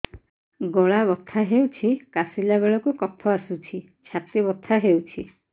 ଗଳା ବଥା ହେଊଛି କାଶିଲା ବେଳକୁ କଫ ଆସୁଛି ଛାତି ବଥା ହେଉଛି